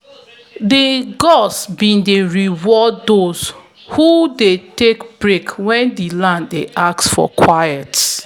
the gods be dey reward those who dey take break wen di land dey ask for quiet.